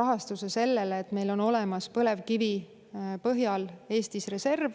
rahastuse sellele, et meil on Eestis olemas põlevkivipõhine reserv.